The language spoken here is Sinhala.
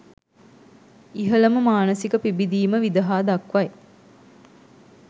ඉහළම මානසික පිබිදීම විදහා දක්වයි.